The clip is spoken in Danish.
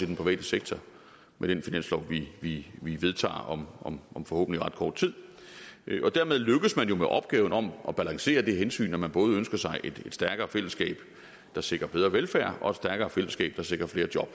den private sektor med den finanslov vi vi vedtager om om forhåbentlig ret kort tid dermed lykkes man jo med opgaven om at balancere det hensyn at man både ønsker sig et stærkere fællesskab der sikrer bedre velfærd og et stærkere fællesskab der sikrer flere job